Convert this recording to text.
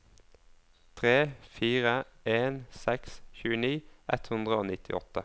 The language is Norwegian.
tre fire en seks tjueni ett hundre og nittiåtte